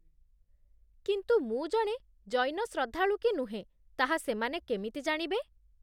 କିନ୍ତୁ ମୁଁ ଜଣେ ଜୈନ ଶ୍ରଦ୍ଧାଳୁ କି ନୁହେଁ ତାହା ସେମାନେ କେମିତି ଜାଣିବେ?